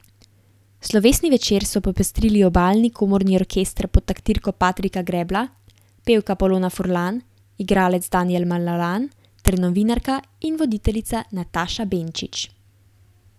Slovesni večer so popestrili Obalni komorni orkester pod taktirko Patrika Grebla, pevka Polona Furlan, igralec Danijel Malalan ter novinarka in voditeljica Nataša Benčič.